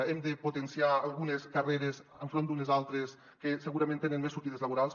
hem de potenciar algu·nes carreres enfront d’unes altres que segurament tenen més sortides laborals